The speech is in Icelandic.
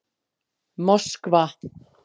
Moskva